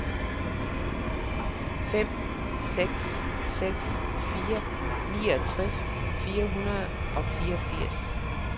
fem seks seks fire niogtres fire hundrede og fireogfirs